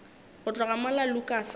go tloga mola lukas a